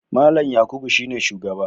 Mallam Yakubu shine shugaba.